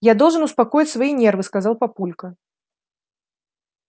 я должен успокоить свои нервы сказал папулька